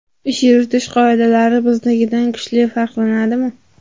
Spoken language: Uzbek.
Ish yuritish qoidalari biznikidan kuchli farqlanadimi?